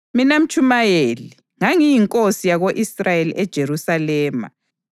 Mina Mtshumayeli, ngangiyinkosi yako-Israyeli eJerusalema.